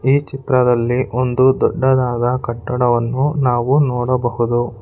ಈ ಚಿತ್ರದಲ್ಲಿ ಒಂದು ದೊಡ್ಡದಾದ ಕಟ್ಟಡವನ್ನು ನಾವು ನೋಡಬಹುದು.